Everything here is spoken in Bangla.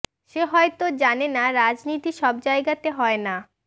সে হয়তো জানে না রাজনীতি সব জায়গাতে হয় না